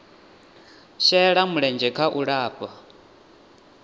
shela mulenzhe kha u lafha